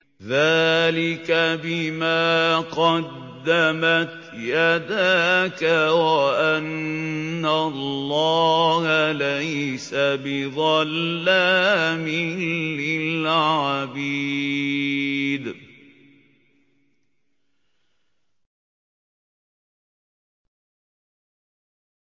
ذَٰلِكَ بِمَا قَدَّمَتْ يَدَاكَ وَأَنَّ اللَّهَ لَيْسَ بِظَلَّامٍ لِّلْعَبِيدِ